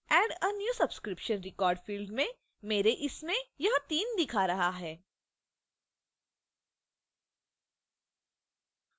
add a new subscription 1/2